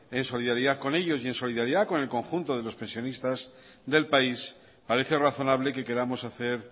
en solidaridad con ellos y en solidaridad con el conjunto de los pensionistas del país parece razonable que queramos hacer